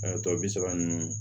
A tɔ bi saba ninnu